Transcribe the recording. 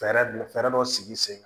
Fɛɛrɛ dɔ fɛɛrɛ dɔ sigi sen kan